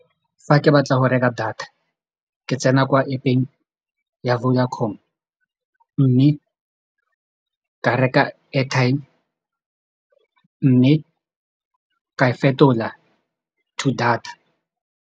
Fa ke batla go reka data ke tsena kwa App-eng ya Vodacom mme ka reka airtime mme ka e fetola to data.